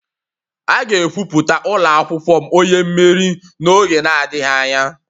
A ga-ekwupụta ụlọ akwụkwọ m onye mmeri n'oge adịghị anya.